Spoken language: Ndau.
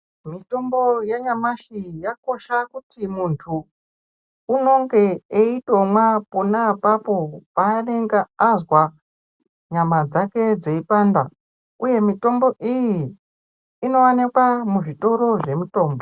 Mithombo yanyamashi yakosha kuti munthu unonge eitomwa pona apapo paanonga azwa nyama dzake dzeipanda uye mithombo iyi inowanikwa muzvitoro zvemithombo.